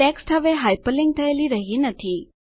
text હવે hyperlink થયેલી રહ્યી નથી